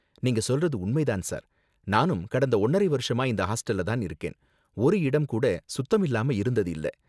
நீங்க சொல்றது உண்மை தான் சார், நானும் கடந்த ஒன்னரை வருஷமா இந்த ஹாஸ்டல்ல தான் இருக்கேன், ஒரு இடம் கூட சுத்தமில்லாம இருந்தது இல்ல.